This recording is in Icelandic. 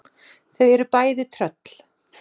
Þau eru bæði tröll.